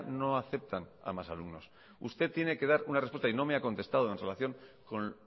no aceptan a más alumnos usted tiene que dar una respuesta y no me ha contestado en relación con